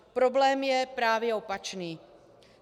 Problém je právě opačný.